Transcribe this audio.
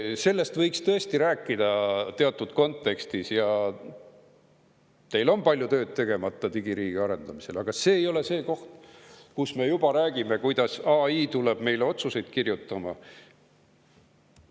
Sellest võiks tõesti rääkida teatud kontekstis, teil on palju tööd tegemata digiriigi arendamisel, aga see ei ole see koht, kus me juba räägime, kuidas AI tuleb meile otsuseid kirjutama.